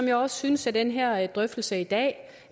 jeg også synes at den her drøftelse i dag